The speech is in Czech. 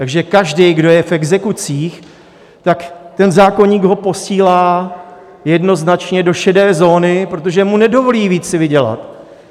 Takže každý, kdo je v exekucích, tak ten zákoník ho posílá jednoznačně do šedé zóny, protože mu nedovolí víc si vydělat.